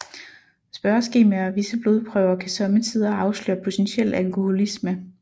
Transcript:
Spørgeskemaer og visse blodprøver kan somme tider afsløre potentiel alkoholisme